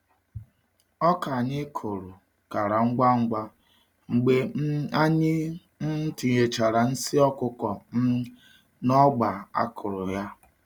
Oka anyị kụrụ kara ngwa ngwa mgbe um anyị um tinyechará nsi ọkụkọ um n'ọgba a kụrụ ya.